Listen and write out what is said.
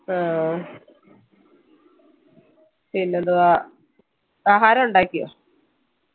ആഹ് പിന്നെന്തുവാ ആഹാരം ഉണ്ടാക്യോ